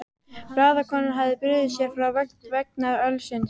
Blaðakonan hafði brugðið sér frá vegna ölsins.